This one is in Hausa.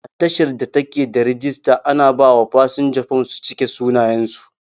A tashar da take da rijister, ana ba wa fasinja fom su cike sunayen su